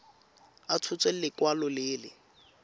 a tshotse lekwalo le le